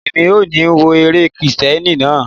Mi ò ní wo eré Kristẹni náà.